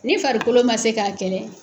Ni farikolo ma se k'a kɛlɛ.